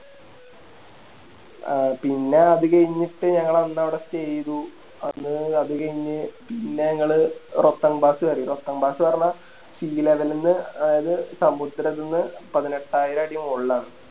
അഹ് പിന്നെ അതികയിഞ്ഞിട്ട് ഞങ്ങളന്നവിടെ Stay ചെയ്തു അപ്പൊ അത് കയിഞ്ഞ് പിന്നെ ഞങ്ങള് അറിയോ ന്ന് പറഞ്ഞ Sea level ന്ന് അത് സമുദ്രത്തിൽന്ന് പതിനെട്ടായിരം അടി മോളിലാണ്